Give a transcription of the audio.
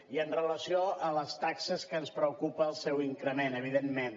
i amb relació a les taxes que ens preocupa el seu increment evidentment